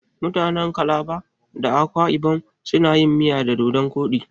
Mutanen calabar da akwa ibon suna yin miya da dodon koɗi.